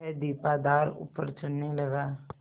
वह दीपाधार ऊपर चढ़ने लगा